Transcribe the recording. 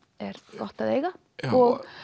er gott að eiga og